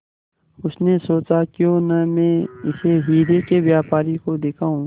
उसने सोचा क्यों न मैं इसे हीरे के व्यापारी को दिखाऊं